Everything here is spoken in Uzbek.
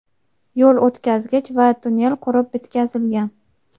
yo‘l o‘tkazgich va tonnel qurib bitkazilgan.